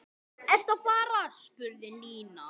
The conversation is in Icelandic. Ertu að fara? spurði Nína.